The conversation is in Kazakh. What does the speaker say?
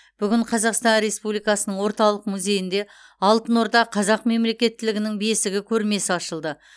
бүгін қазақстан республикасының орталық музейінде алтын орда қазақ мемлекеттілігінің бесігі көрмесі ашылды